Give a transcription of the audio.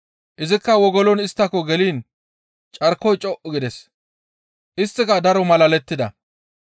Izikka wogolon isttako geliin carkoy co7u gides, isttika daro malalettida.